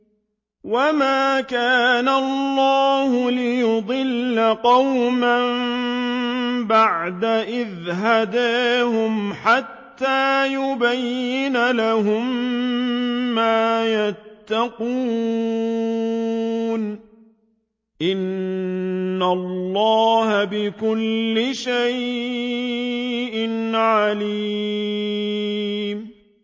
وَمَا كَانَ اللَّهُ لِيُضِلَّ قَوْمًا بَعْدَ إِذْ هَدَاهُمْ حَتَّىٰ يُبَيِّنَ لَهُم مَّا يَتَّقُونَ ۚ إِنَّ اللَّهَ بِكُلِّ شَيْءٍ عَلِيمٌ